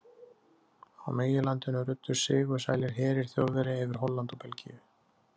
Á meginlandinu ruddust sigursælir herir Þjóðverja yfir Holland og Belgíu.